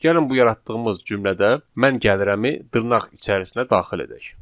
Gəlin bu yaratdığımız cümlədə mən gəlirəmi dırnaq içərisinə daxil edək.